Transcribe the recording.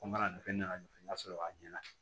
Ko n kana nin fɛn nana ɲɛ f'i ye n ka sɔrɔ a ɲɛna